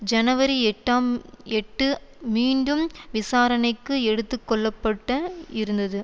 ஜனவரி எட்டாம் எட்டு மீண்டும் விசாரணைக்கு எடுத்து கொள்ள பட்ட இருந்தது